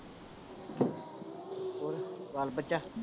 ਹੋਰ ਬਾਲ-ਬੱਚਾ